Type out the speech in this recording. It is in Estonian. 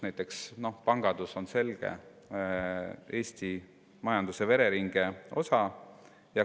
Näiteks pangandus on selgelt Eesti majanduse vereringe osa.